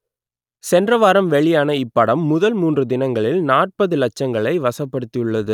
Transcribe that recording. சென்ற வாரம் வெளியான இப்படம் முதல் மூன்று தினங்களில் நாற்பது லட்சங்களை வசப்படுத்தியுள்ளது